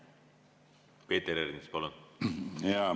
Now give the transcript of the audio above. Peeter Ernits, palun!